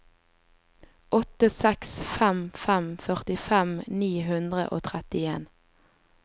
åtte seks fem fem førtifem ni hundre og trettien